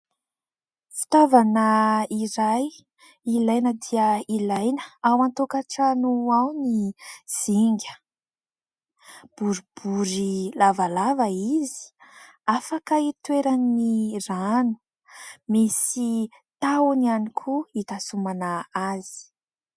Fitaovana iray ilaina dia ilaina ao an-tokantrano ao ny zinga. Boribory lavalava izy, afaka itoeran'ny rano. Misy tahony ihany koa itazomana azy.